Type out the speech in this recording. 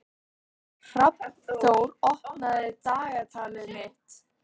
Hrafnþór, opnaðu dagatalið mitt.